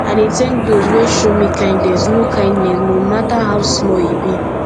i dey tank dose wey show me kindness no kindness no mata how small e be